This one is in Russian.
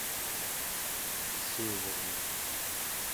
северный